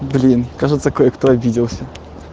блин кажется кое кто обиделся